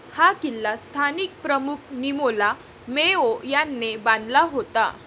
हा किल्ला स्थानिक प्रमुख निमोला मेओ याने बांधला होता